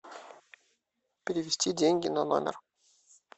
перевести деньги на номер